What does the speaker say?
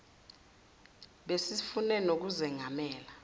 besi sifune nokuzengamela